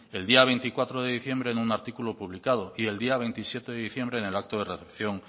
el día veinticuatro de diciembre en un artículo publicado y el día veintisiete de diciembre en el acto de recepción